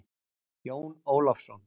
Jón Ólafsson.